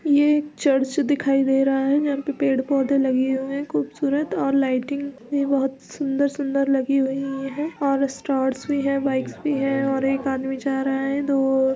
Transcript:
ये एक चर्च दिखाई दे रहा है। जहां पे पेड़-पौधे लगे हुए हैं खूबसूरत और लाइटिंग भी बहोत सुंदर सुंदर लगी हुई है और स्टारस भी हैं लाइट भी है और एक आदमी जा रहा है। दो --